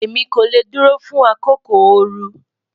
Emi ko le duro fun akoko ooru